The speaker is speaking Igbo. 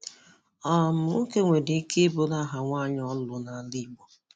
um Nwoke nwere ike iburu aha nwanyị ọ lụrụ n'ala Igbo?